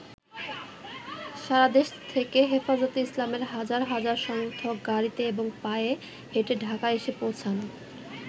সারাদেশ থেকে হেফাজতে ইসলামের হাজার হাজার সমর্থক গাড়ীতে এবং পায়ে হেঁটে ঢাকায় এসে পৌঁছান।